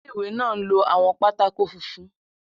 Ilé-ìwé náà ń lo àwọn pátákó funfun.